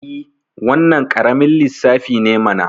I, wannan ƙaramin lissafi ne mana